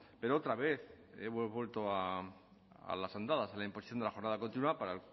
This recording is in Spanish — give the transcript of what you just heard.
pero otra vez hemos vuelto a las andadas a la imposición de la jornada continua para